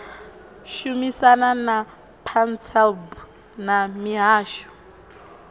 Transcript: shumisana na pansalb na mihasho